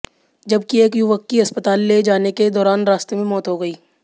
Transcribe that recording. जबकि एक युवक की अस्पताल ले जाने के दौरान रास्ते में मौत हो गई